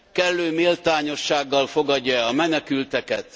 Kellő méltányossággal fogadja e a menekülteket?